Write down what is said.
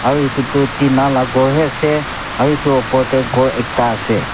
aru etu tu tina laga gour hai ase aru etu opor te gour ekta ase.